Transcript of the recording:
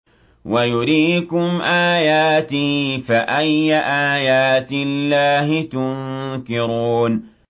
وَيُرِيكُمْ آيَاتِهِ فَأَيَّ آيَاتِ اللَّهِ تُنكِرُونَ